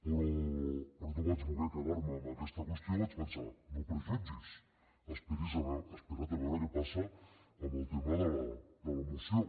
però no vaig voler quedar me amb aquesta qüestió i vaig pensar no prejutgis espera’t a veure què passa amb el tema de la moció